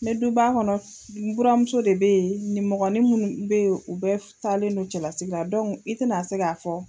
N bɛ duba kɔnɔ n buramuso de bɛ yen, nimɔgɔni munnu bɛ yen u bɛ taalen don cɛlasigila i tɛna a se k'a fɔ.